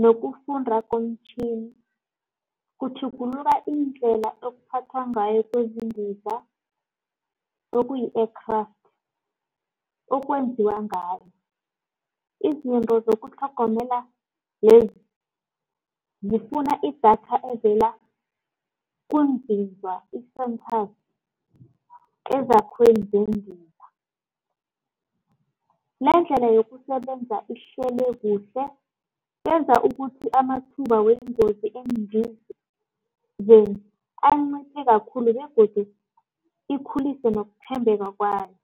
nokufunda kumtjhini. Kutjhugulula indlela ekuphathwa ngayo kwezindiza okuyi-aircraft okwenziwa ngayo, izinto zokutlhogomela lezi zifuna idatha evela ngendima. Lendlela yokusebenza ihlele kuhle yenza ukuthi amathuba weengozi endleleni anciphe khulu begodu ikhulisa nokuthembeka kwayo.